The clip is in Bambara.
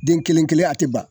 Den kelen-kelen a te ban.